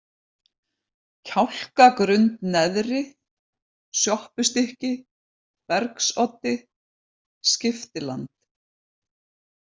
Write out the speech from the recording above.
Kjálkagrund neðri, Sjoppustykki, Bergsoddi, Skiptiland